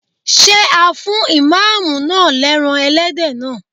Ṣé a fún Ìmáàmù náà lẹ́ran Ẹlẹ́dẹ̀ naa?